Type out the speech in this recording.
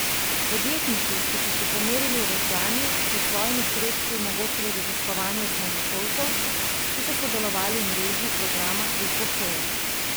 Podjetniki, ki so se pomerili v veslanju, so s svojimi sredstvi omogočili raziskovanje osnovnošolcev, ki so sodelovali v mreži programa Ekošola.